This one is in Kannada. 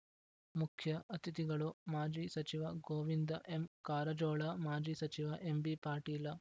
ಮುಖ್ಯ ಅತಿಥಿಗಳು ಮಾಜಿ ಸಚಿವ ಗೋವಿಂದ ಎಂಕಾರಜೋಳ ಮಾಜಿ ಸಚಿವ ಎಂಬಿಪಾಟೀಲ